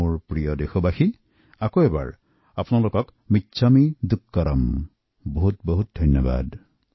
মোৰ প্ৰিয় দেশবাসী আপোনালোকক পুনৰ কওঁ মিচ্ছামী দুক্কড়ম বহুত বহুত ধন্যবাদ